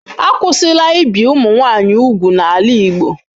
Akwụsịla ibi ụmụ nwanyị úgwù n'ala Igbo.